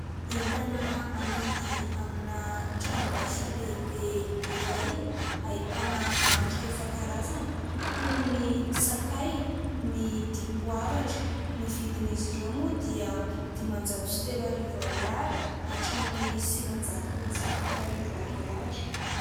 Entana amidy amina tranombarotra lehibe iray. Ahitana hanitra isan-karazany toy : ny sakay, ny dipoavatra. Ny vidin'izy ireo moa dia dimanjato sy telo arivo ariary hatramin'ny sivinjato sy fito arivo ariary.